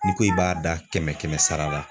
N'i ko i b'a da kɛmɛ kɛmɛ sara la